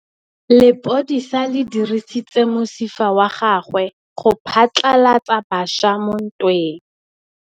Lepodisa le dirisitse mosifa wa gagwe go phatlalatsa batšha mo ntweng.